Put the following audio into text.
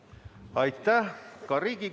Ma tänan kõiki küsijaid, tänan kõiki vastajaid!